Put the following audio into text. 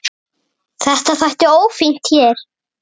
Þetta þætti ófínt hér.